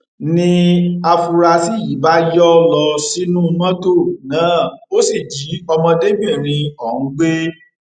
ni àfúrásì yìí bá yọ lọ sínú mọtò náà ó sì jí ọmọdébìnrin ọhún gbé